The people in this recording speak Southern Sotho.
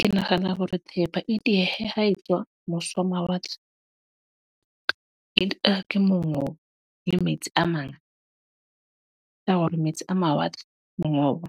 Ke nahana hore thepa e diehe ha e tswa mose ho mawatle, ke mongobo le metsi a ma . Ke hore metsi a mawatle, mongobo,